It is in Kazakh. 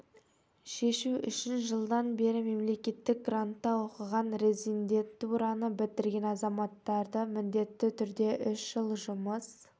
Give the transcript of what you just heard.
шешу үшін жылдан бері мемлекеттік грантта оқыған резидентураны бітірген азаматтарды міндетті түрде үш жыл жұмыс